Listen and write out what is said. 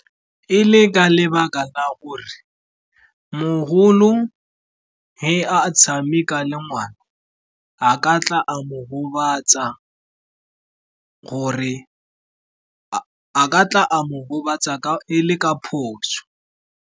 E le ka lebaka la gore mogolo ge a tshameka le ngwana, a ka tla a mo gobatsa ele ka phoso.